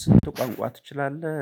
ስንት? ቋንቋ ትችላለህ